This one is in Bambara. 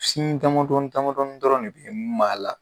dama dɔɔni dama dɔɔni dɔrɔn de bɛ mun b'a la